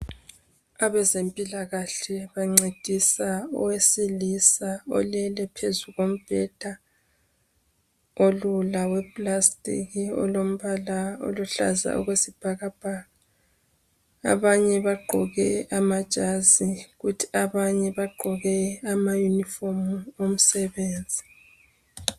Abezempilakahle bancedisa owesilisa olele phezu kombheda ,olula wepulasitiki olombala oluhlaza okwesibhakabhaka. Abanye bagqoke amajazi kuthi abanye bagqoke amayinifomu omsebenzi.